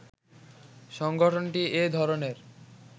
সংগঠনটি এ ধরণের